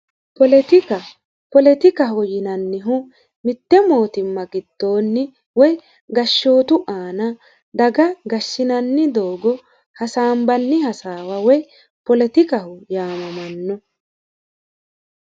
politika politikaho yinannihu mitte mootimma giddoonni woy gashshootu aana daga gashshinanni doogo hasaanbanni hasaawoa woy politikaho yaamamanno